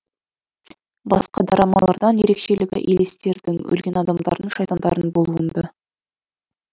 басқа драмалардан ерекшелігі елестердің өлген адамдардың шайтандардың болуында